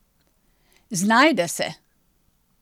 Znajde se.